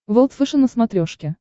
волд фэшен на смотрешке